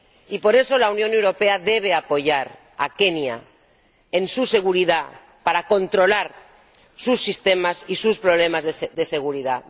Y por eso, la Unión Europea debe apoyar a Kenia en su seguridad, para controlar sus sistemas y sus problemas de seguridad.